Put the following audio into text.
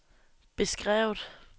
beskrevet